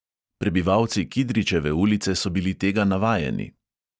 Prebivalci kidričeve ulice so bili tega navajeni.